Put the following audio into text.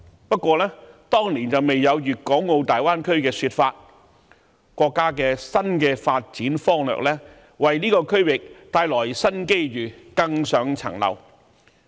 不過，當年未有粵港澳大灣區的說法，國家的新發展方略為這個區域帶來新機遇，更上一層樓。